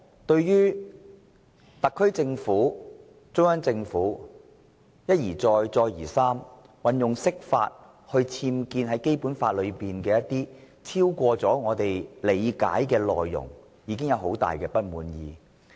對於中央政府一再運用釋法權力，在《基本法》中僭建超過我們所理解的內容，民主派已經十分不滿。